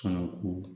Fana ko